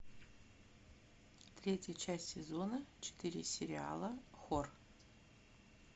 третья часть сезона четыре сериала хор